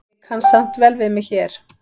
Ég kann samt vel við mig hér.